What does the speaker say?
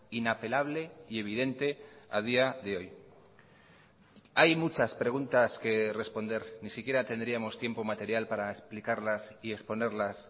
inapelable y evidente a día de hoy hay muchas preguntas que responder ni siquiera tendríamos tiempo material para explicarlas y exponerlas